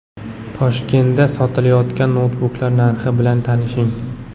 Toshkentda sotilayotgan noutbuklar narxi bilan tanishing.